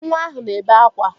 Nwa ahụ na-ebe akwa